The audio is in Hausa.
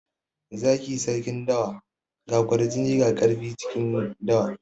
Zaki sarkin dawa. Ga kwarjini ga ƙarfi cikin dawa.